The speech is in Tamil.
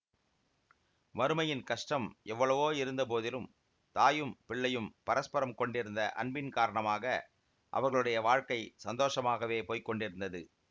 வறுமையின் கஷ்டம் எவ்வளவோ இருந்த போதிலும் தாயும் பிள்ளையும் பரஸ்பரம் கொண்டிருந்த அன்பின் காரணமாக அவர்களுடைய வாழ்க்கை சந்தோஷமாகவே போய் கொண்டிருந்தது